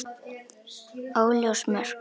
Óljós mörk.